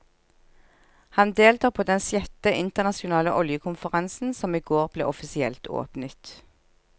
Han deltar på den sjette internasjonale oljekonferansen, som i går ble offisielt åpnet.